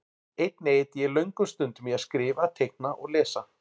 Einnig eyddi ég löngum stundum í að skrifa, teikna og lesa.